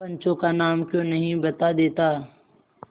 पंचों का नाम क्यों नहीं बता देता